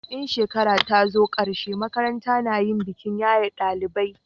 in shekara ta zo karshe makaranta na yin bikin yaye dalibai